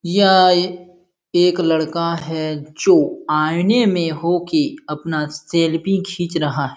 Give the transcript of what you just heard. यह एक लड़का है जो आईने में हो के अपना सेल्फी खींच रहा है।